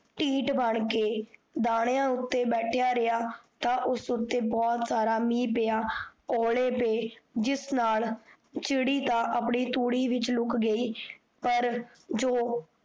ਤੀਠ ਬਣ ਕੇ ਦਾਨੀਆਂ ਉੱਤੇ ਬੈਥਇਆ ਰਿਹਾ, ਤਾਂ ਉਸ ਉੱਤੇ ਬੋਹੋਤ ਸਾਰਾ ਮੀਹ ਪਿਆ ਓਲੇ ਪੇ, ਜਿਸ ਨਾਲ ਚਿੜੀ ਤਾਂ ਆਪਣੀ ਤੂੜੀ ਵਿਚ ਲੁਕ ਗਈ ਪਰ ਜੋ